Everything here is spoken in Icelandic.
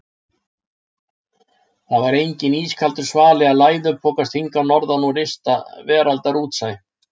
Það var enginn ískaldur svali að læðupokast hingað norðan úr ysta veraldar útsæ.